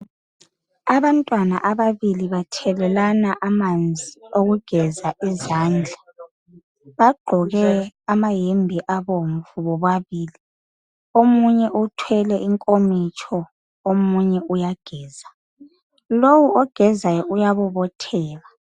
Abantwana ababili bathelelana amanzi okugeza izandla. Bagqoke amayembe abomvu bobabili. Omunye uthwele inkomitsho, omunye uyageza. Lowu ogezayo uyabobotheka.